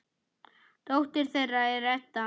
Dóttir þeirra er Edda.